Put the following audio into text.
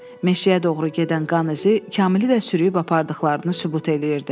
Meşəyə doğru gedən qan izi Kamili də sürüb apardıqlarını sübut eləyirdi.